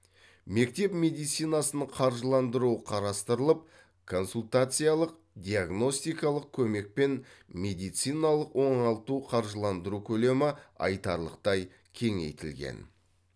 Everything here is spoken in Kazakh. мектеп медицинасын қаржыландыру қарастырылып консультациялық диагностикалық көмек пен медициналық оңалту қаржыландыру көлемі айтарлықтай кеңейтілген